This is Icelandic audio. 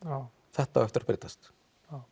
þetta á eftir að breytast